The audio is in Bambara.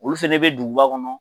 Olu fɛnɛ bɛ duguba kɔnɔ.